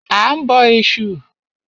A ń bọ Ẹ̀sù.